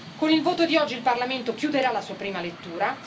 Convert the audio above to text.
Con il voto di oggi il Parlamento chiuderà la sua prima lettura.